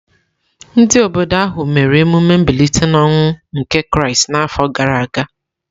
Ndị obodo ahụ mere emume mbilite n’ọnwụ nke Kraịst n’afọ gara aga.